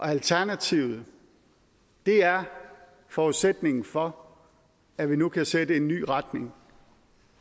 alternativet er forudsætningen for at vi nu kan sætte en ny retning